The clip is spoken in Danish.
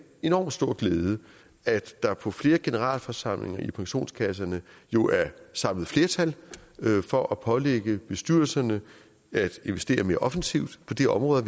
enormt stor glæde at der på flere generalforsamlinger i pensionskasserne jo er samlet flertal for at pålægge bestyrelserne at investere mere offensivt på de områder